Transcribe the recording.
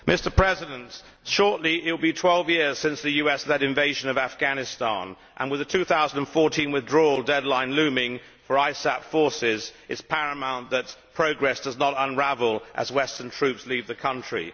Mr President, shortly it will be twelve years since the US led invasion of Afghanistan, and with the 2014 withdrawal deadline looming for ISAF forces it is paramount that progress does not unravel as Western troops leave the country.